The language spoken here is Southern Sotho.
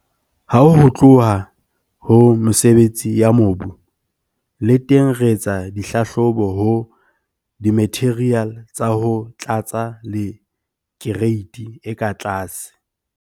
Ha ho tluwa ho mesebetsi ya mobu, le teng re etsa dihlahlobo ho dimatheriale tsa ho tlatsa le kereiti e ka tlase.